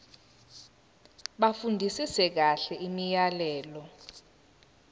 bafundisise kahle imiyalelo